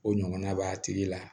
O ɲɔgɔnna b'a tigi la